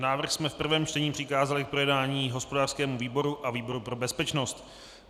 Návrh jsme v prvém čtení přikázali k projednání hospodářskému výboru a výboru pro bezpečnost.